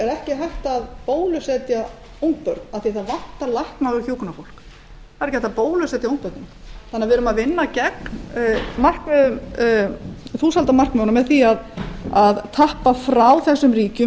ekki hægt að bólusetja ungbörn af því að það vantar lækna og hjúkrunarfólk við vinnum því gegn þúsaldarmarkmiðunum með því að taka heilbrigðisstarfsfólk frá þróunarríkjunum